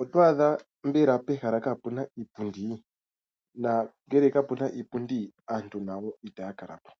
Otwa adha mbela pehala kapuna iipundi. Nangele kapun iipundi, aantu nayo itaya kala po.